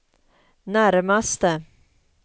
närmaste